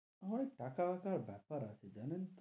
অনেক টাকা-ফাকার বেপার আছে জানেন তো,